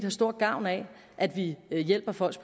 stor gavn af at vi hjælper folk